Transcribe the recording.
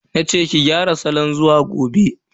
Nace ki gyara falon zuwa gobe.